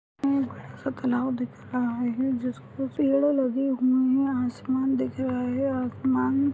एक बडासा तलाब दिख रहे है जिसपे पेड़ लगे हुई है। आसमान दिख रहा है। आसमान--